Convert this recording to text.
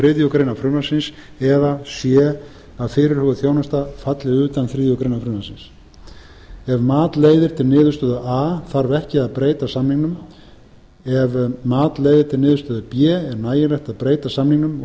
þriðju greinar frumvarpsins eða c að fyrirhuguð þjónusta falli utan þriðju greinar frumvarpsins ef mat leiðir til niðurstöðu a þarf ekki að breyta samningnum ef mat leiðir til niðurstöðu b er nægilegt að breyta samningnum